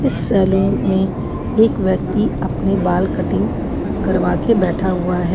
इस सलून में एक व्यक्ति अपने बाल कटिंग करवा के बैठा हुआ है।